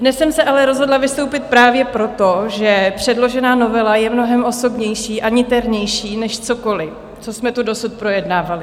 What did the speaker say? Dnes jsem se ale rozhodla vystoupit právě proto, že předložená novela je mnohem osobnější a niternější než cokoli, co jsme tu dosud projednávali.